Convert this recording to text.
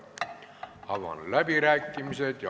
Avan läbirääkimised.